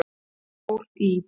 Fáir í